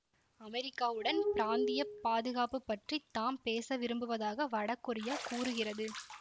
அமெரிக்காவுடன் பிராந்திய பாதுகாப்பு பற்றி தாம் பேச விரும்புவதாக வடகொரியா கூறுகிறது